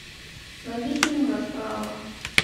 найди фильм расправа